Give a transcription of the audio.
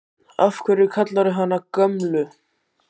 Af hverju kallarðu hana Gömlu?